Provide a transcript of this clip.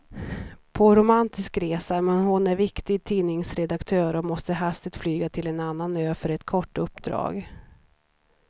På romantisk resa, men hon är viktig tidningsredaktör och måste hastigt flyga till en annan ö för ett kort uppdrag.